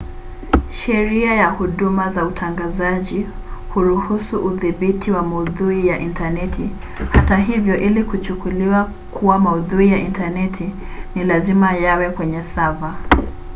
sheria ya huduma za utangazaji huruhusu udhibiti wa maudhui ya intaneti hata hivyo ili kuchukuliwa kuwa maudhui ya intaneti ni lazima yawe kwenye seva